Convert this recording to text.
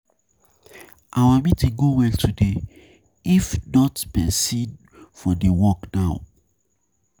Our meeting go well today, if not person for dey work now.